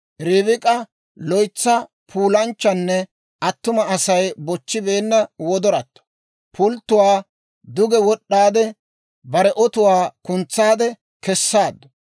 Ribik'a loytsa puulanchchanne attuma Asay bochchibeenna wodoratto. Pulttuwaa duge wod'd'aade, bare otuwaa kuntsaade kessaaddu.